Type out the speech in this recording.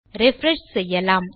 refresh செய்யலாம்